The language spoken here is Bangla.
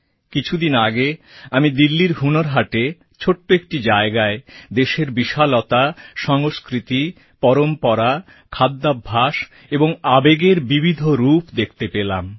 কিছুদিন আগে আমি দিল্লির হুনর হাটে ছোট একটি জায়গায় দেশের বিশালতা সংস্কৃতি পরম্পরা খাদ্যাভ্যাস আর আবেগের বিবিধ রূপ দেখতে পেলাম